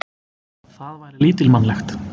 Það væri lítilmannlegt.